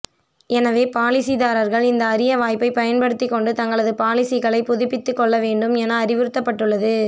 எனவே பாலிசிதாரர்கள் இந்த அரிய வாய்ப்பை பயன்படுத்திக் கொண்டு தங்களது பாலிசிகளை புதுப்பித்துக்கொள்ள வேண்டும் என அறிவுறுத்தப்பட்டுள்ளது